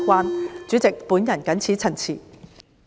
代理主席，我謹此陳辭。